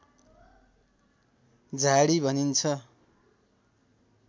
झाडी भनिन्छ